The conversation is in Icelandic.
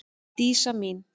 Dísa mín.